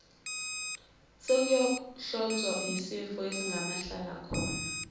sokuwohlozwa yisifo esingamahlalakhona